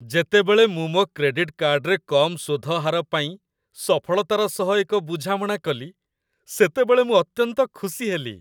ଯେତେବେଳେ ମୁଁ ମୋ କ୍ରେଡିଟ୍ କାର୍ଡରେ କମ୍ ସୁଧ ହାର ପାଇଁ ସଫଳତାର ସହ ଏକ ବୁଝାମଣା କଲି, ସେତେବେଳେ ମୁଁ ଅତ୍ୟନ୍ତ ଖୁସି ହେଲି।